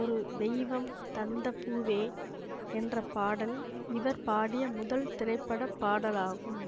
ஒரு தெய்வம் தந்த பூவே என்ற பாடல் இவர் பாடிய முதல் திரைப்பட பாடலாகும்